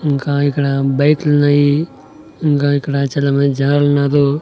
ఇంకా ఇక్కడ బైక్ లున్నాయి ఇంగా ఇక్కడ చాలా మంది జనాలున్నారు.